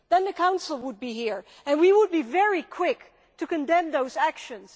the Council would be here and we would be very quick to condemn those actions.